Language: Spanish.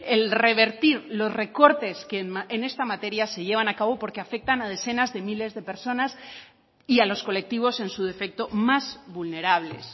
el revertir los recortes que en esta materia se llevan a cabo porque afectan a decenas de miles de personas y a los colectivos en su defecto más vulnerables